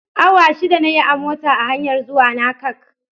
Awa shida na yi a mota a hanyar zuwana Kank